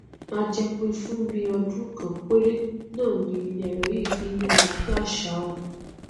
a jẹ pé fún bíi ọdún kan péré náà ni ẹrọ yìí fi n yára bí àṣá o